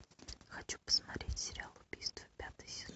хочу посмотреть сериал убийство пятый сезон